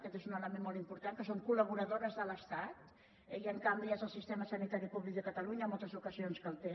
aquest és un element molt important que són collaboradores de l’estat eh i en canvi és el sistema sanitari públic de catalunya en moltes ocasions que el té